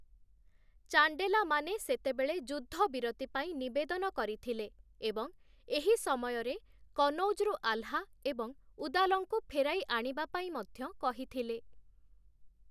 ଚାଣ୍ଡେଲାମାନେ ସେତେବେଳେ ଯୁଦ୍ଧବିରତି ପାଇଁ ନିବେଦନ କରିଥିଲେ ଏବଂ ଏହି ସମୟରେ କନୌଜରୁ ଆଲ୍‌ହା ଏବଂ ଉଦାଲଙ୍କୁ ଫେରାଇ ଆଣିବା ପାଇଁ ମଧ୍ୟ କହିଥିଲେ ।